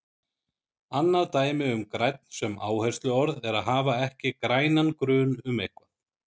Annað dæmi um grænn sem áhersluorð er að hafa ekki grænan grun um eitthvað.